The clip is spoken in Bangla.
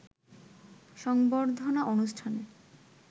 সংবর্ধনা অনুষ্ঠানে